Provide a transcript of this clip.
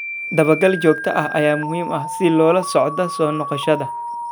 Dabagal joogto ah ayaa muhiim ah si loola socdo soo noqoshada.